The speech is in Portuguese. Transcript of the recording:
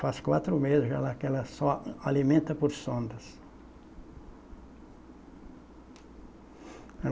Faz quatro meses já lá que ela só alimenta por sondas.